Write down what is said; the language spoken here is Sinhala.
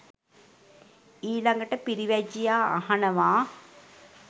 ඊළඟට පිරිවැජියා අහනවා.